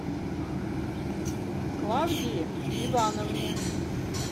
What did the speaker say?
клавдии ивановне